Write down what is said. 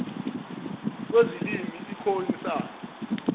kwezilimi ikhoe isan